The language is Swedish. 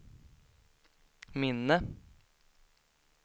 minne